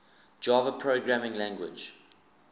java programming language